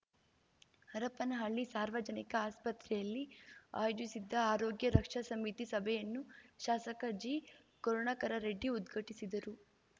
ಹರಪನಹಳ್ಳಿ ಸಾರ್ವಜನಿಕ ಆಸ್ಪತ್ರೆಯಲ್ಲಿ ಆಯೋಜಿಸಿದ್ಜ ಆರೋಗ್ಯ ರಕ್ಷಾ ಸಮಿತಿ ಸಭೆಯನ್ನು ಶಾಸಕ ಜಿಕರುಣಾಕರರೆಡ್ಡಿ ಉದ್ಘಟಿಸಿದರು